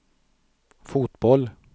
fotboll